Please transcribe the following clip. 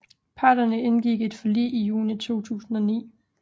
Parterne indgik et forlig i juni 2009